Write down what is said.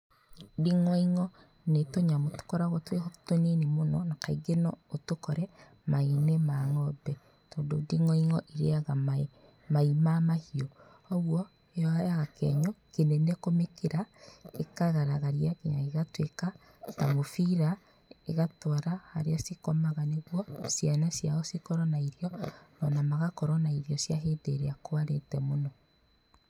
Nding'oing'o nĩ tũnyamũ tũkoragwo twĩho tũnini mũno na kaingĩ no ũtũkore mai-inĩ ma ng'ombe tondũ nding'oing'o irĩa mai mai ma mahiũ koguo yoyaga kĩenyũ kĩnene kũmĩkĩra, ĩkagaragaria nginya gĩgatuĩka kamũbira ĩgatwara harĩa cikomaga nĩguo ciana ciao cikorwo na irio o na magakorwo na irio cia hĩndĩ ĩrĩa kwarĩte mũno.